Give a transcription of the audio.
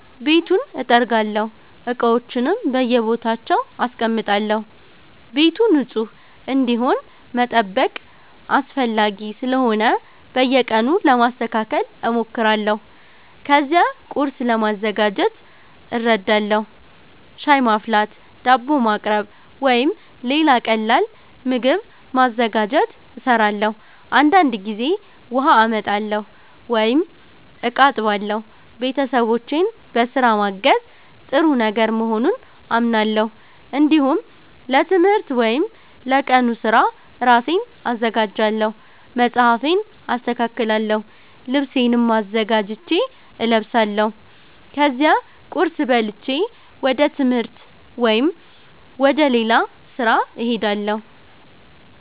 ቤቱን እጠርጋለሁ፣ እቃዎችንም በየቦታቸው አስቀምጣለሁ። ቤቱ ንጹህ እንዲሆን መጠበቅ አስፈላጊ ስለሆነ በየቀኑ ለማስተካከል እሞክራለሁ። ከዚያ ቁርስ ለማዘጋጀት እረዳለሁ። ሻይ ማፍላት፣ ዳቦ ማቅረብ ወይም ሌላ ቀላል ምግብ ማዘጋጀት እሰራለሁ። አንዳንድ ጊዜ ውሃ አመጣለሁ ወይም እቃ አጥባለሁ። ቤተሰቦቼን በስራ ማገዝ ጥሩ ነገር መሆኑን አምናለሁ። እንዲሁም ለትምህርት ወይም ለቀኑ ስራ ራሴን አዘጋጃለሁ። መጽሐፌን አስተካክላለሁ፣ ልብሴንም አዘጋጅቼ እለብሳለሁ። ከዚያ ቁርስ በልቼ ወደ ትምህርት ወይም ወደ ሌላ ስራ እሄዳለሁ።